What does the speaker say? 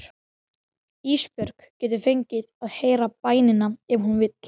Ísbjörg getur fengið að heyra bænina ef hún vill.